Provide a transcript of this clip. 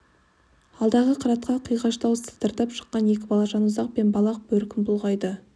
алдағы қыратқа қиғаштау сыдыртып шыққан екі бала жанұзақ пен балақ бөркін бұлғайды